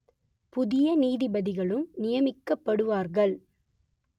புதிய நீதிபதிகளும் நியமிக்கப்படுவார்கள்